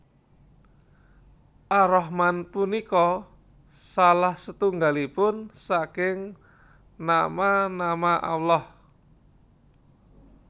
Ar Rahman punika salah setunggalipun saking nama nama Allah